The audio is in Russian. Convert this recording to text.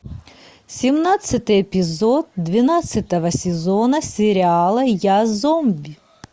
семнадцатый эпизод двенадцатого сезона сериала я зомби